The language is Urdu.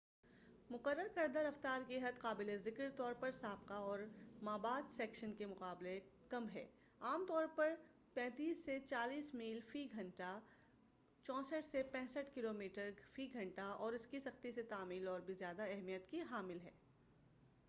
مقرر کردہ رفتار کی حد قابل ذکر طور پرسابقہ اور مابعد سیکشن کے مقابلہ کم ہے-عام طور پر 35-40 میل فی گھنٹہ 56-64 کیلو میٹر/گھنٹہ- اور اس کی سختی سے تعمیل اور بھی زیادہ اہمیت کی حامل ہے۔